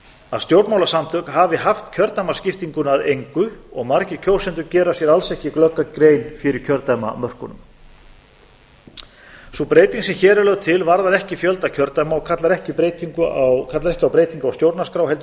að stjórnmálasamtök hafi haft kjördæmaskiptinguna að engu og margir kjósendur gera sér alls ekki glögga grein fyrir kjördæmamörkunum sú breyting sem hér er lögð til varðar ekki fjölda kjördæma og kallar ekki á breytingu á stjórnarskrá heldur